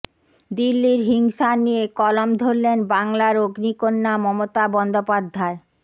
দিল্লির হিংসা নিয়ে কলম ধরলেন বাংলার অগ্নিকন্যা মমতা বন্দ্যোপাধ্যায়